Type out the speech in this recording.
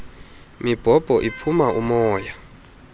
mibhobho iphuma umoya